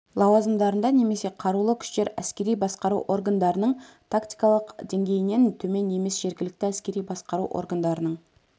лауазымдарында немесе қарулы күштер әскери басқару органдарының тактикалық деңгейінен төмен емес жергілікті әскери басқару органдарының